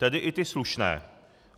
Tedy i ty slušné.